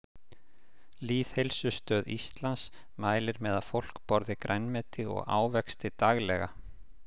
Lýðheilsustöð Íslands mælir með að fólk borði grænmeti og ávexti daglega.